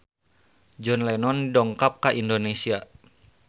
John Lennon dongkap ka Indonesia